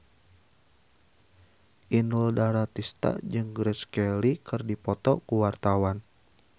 Inul Daratista jeung Grace Kelly keur dipoto ku wartawan